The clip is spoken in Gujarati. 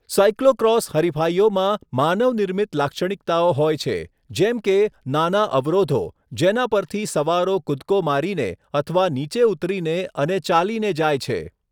સાઇક્લોક્રોસ હરિફાઇઓમાં માનવ નિર્મિત લાક્ષણિકતાઓ હોય છે જેમ કે નાના અવરોધો જેના પરથી સવારો કૂદકો મારીને અથવા નીચે ઉતરીને અને ચાલીને જાય છે.